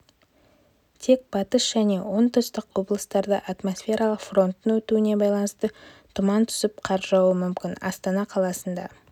тек батыс және оңтүстік облыстарда атмосфералық фронттың өтуіне байланысты тұман түсіп қар жаууы мүмкін астана қаласында